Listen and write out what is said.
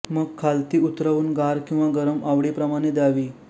मग खालती उतरवून गार किंवा गरम आवडी प्रमाणे द्यावी